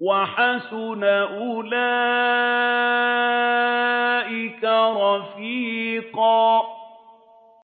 وَحَسُنَ أُولَٰئِكَ رَفِيقًا